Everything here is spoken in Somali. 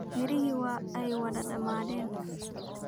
Miriihii waa ay wada damadeen.